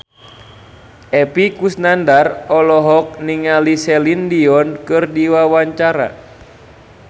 Epy Kusnandar olohok ningali Celine Dion keur diwawancara